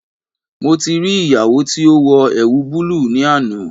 Mo ti ri iyawo ti o wọ ẹwu bulu ni ana